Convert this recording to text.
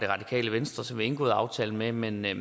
radikale venstre som indgået aftalen med men jeg